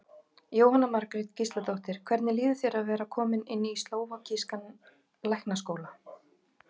Jóhanna Margrét Gísladóttir: Hvernig líður þér að vera kominn inn í slóvakískan læknaskóla?